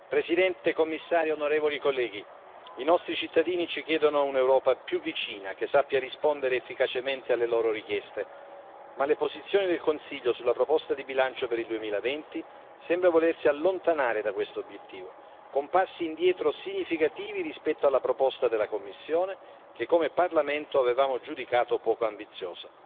Signora Presidente, signor Commissario, onorevoli colleghi, i nostri cittadini ci chiedono un'Europa più vicina, che sappia rispondere efficacemente alle loro richieste, ma le posizioni del Consiglio sulla proposta di bilancio per il 2020 sembrano volersi allontanare da questo obiettivo, con passi indietro significativi rispetto alla proposta della Commissione che, come Parlamento, avevamo giudicato poco ambiziosa.